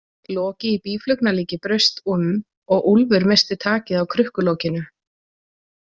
Loki í býflugnalíki braust um og Úlfur missti takið á krukkulokinu.